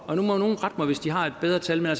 og nu må nogen rette mig hvis de har et bedre tal var